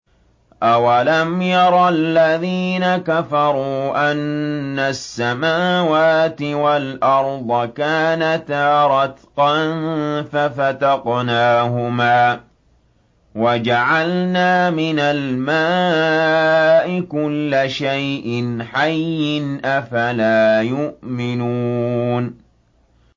أَوَلَمْ يَرَ الَّذِينَ كَفَرُوا أَنَّ السَّمَاوَاتِ وَالْأَرْضَ كَانَتَا رَتْقًا فَفَتَقْنَاهُمَا ۖ وَجَعَلْنَا مِنَ الْمَاءِ كُلَّ شَيْءٍ حَيٍّ ۖ أَفَلَا يُؤْمِنُونَ